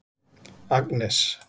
Agnes